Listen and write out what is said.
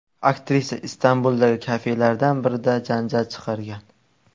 Aktrisa Istanbuldagi kafelardan birida janjal chiqargan.